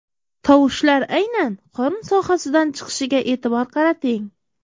Tovushlar aynan qorin sohasidan chiqishiga e’tibor qarating.